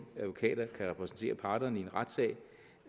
advokater kan repræsentere parterne i en retssag ved